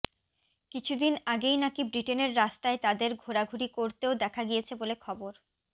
কিছুদিন আগেই নাকি ব্রিটেনের রাস্তায় তাঁদের ঘোরাঘুরি করতেও দেখা গিয়েছে বলে খবর